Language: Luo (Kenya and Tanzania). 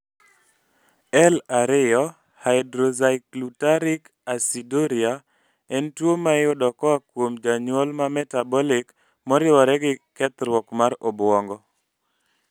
L 2 hydroxyglutaric aciduria en tuwo maiyudo koa kuom janyuol ma metabolic moriwore gi kethruok mar obwongo